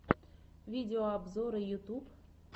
видеообзоры ютюб